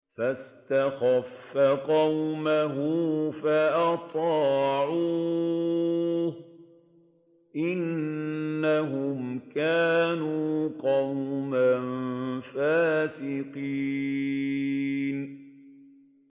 فَاسْتَخَفَّ قَوْمَهُ فَأَطَاعُوهُ ۚ إِنَّهُمْ كَانُوا قَوْمًا فَاسِقِينَ